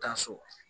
Taa so